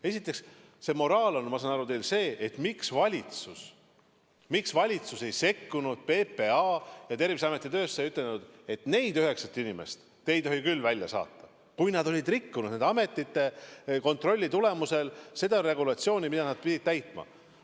Esiteks, moraal on, ma saan aru, teil see, et miks valitsus ei sekkunud PPA ja Terviseameti töösse ega ütelnud, et neid üheksat inimest te ei tohi küll välja saata, kui nad olid rikkunud seda regulatsiooni, mida nad pidid täitma.